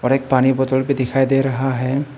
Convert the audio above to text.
एक पानी बोतल भी दिखाई दे रहा है।